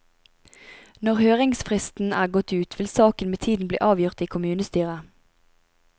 Når høringsfristen er gått ut, vil saken med tiden bli avgjort i kommunestyret.